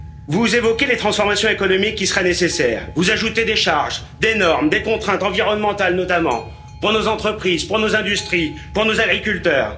Vous évoquez les transformations économiques qui seraient nécessaires, vous ajoutez des charges, des normes, des contraintes environnementales notamment, pour nos entreprises, pour nos industries, pour nos agriculteurs.